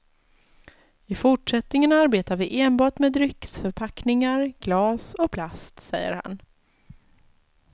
I fortsättningen arbetar vi enbart med dryckesförpackningar, glas och plast, säger han.